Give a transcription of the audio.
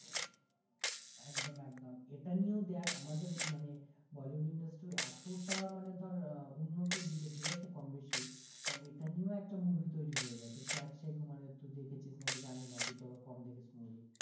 একদম একদম এটা নিয়েও দেখ আমাদের মানে bollywood industry এতোটা মানে ধর আহ উন্নতির দিকে ঠিক আছে কমবেশি কারণ এটা নিয়েও একটা movie তৈরি হয়ে গেছে সেই আক্সাই কুমারের তুই দেখেছিস নাকি জানি না তুই তো আবার কম দেখিস movie